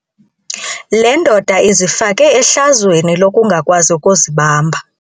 Le ndoda izifake ehlazweni lokungakwazi ukuzibamba.